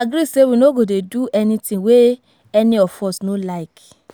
we agree say we no go dey do anything wey any of us no like